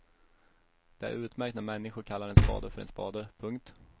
Det är utmärkt när människor kallar en spade för en spade. punkt